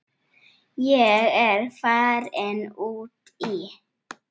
Ég er farin út í.